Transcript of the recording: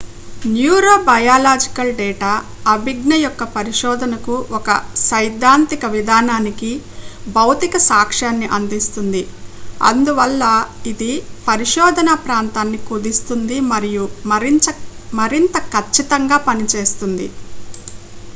neurobiological data అభిజ్ఞయొక్క పరిశోధనకు ఒక సైద్ధాంతిక విధానానికి భౌతిక సాక్ష్యాన్ని అందిస్తుంది అందువల్ల ఇది పరిశోధన ప్రాంతాన్ని కుదిస్తుంది మరియు మరింత కచ్చితంగా చేస్తుంది